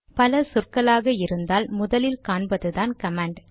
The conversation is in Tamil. பல சொற்களாக இருந்தால் முதலில் காண்பதுதான் கமாண்ட்